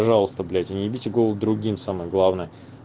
пожалуйста блять и не ебите голову другим самое главное